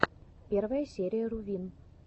первая серия рувин